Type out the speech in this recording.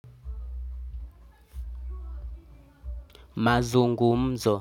Mazungumzo.